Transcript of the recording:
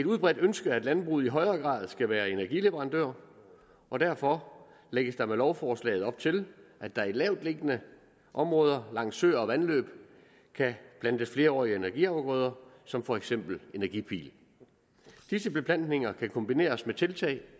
udbredt ønske at landbruget i højere grad skal være energileverandør og derfor lægges der med lovforslaget op til at der i lavtliggende områder langs søer og vandløb kan plantes flerårige energiafgrøder som for eksempel energipil disse beplantninger kan kombineres med tiltag